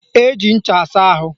Eji ncha asa ahụ